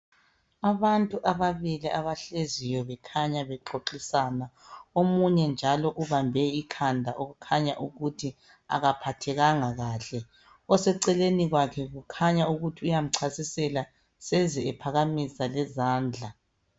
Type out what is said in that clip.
Abantu ababili abahleziyo bekhanya bexoxisana. Omunye njalo ubambe ikhanda okukhanya ukuthi akaphathekanga kahle. Oseceleni kwakhe kukhanya ukuthi uyamchasisela. Seze ephakamisa lezandla.